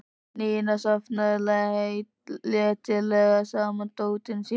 Nína safnaði letilega saman dótinu sínu.